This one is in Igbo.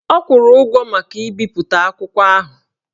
Ọ kwụrụ ụgwọ maka ibipụta akwụkwọ ahụ